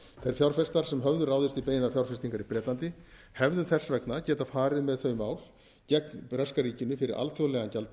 fjárfestar sem höfðu ráðist í beinar fjárfestingar í bretlandi hefðu þess vegna getað farið með þau mál gegn breska ríkinu fyrir alþjóðlegan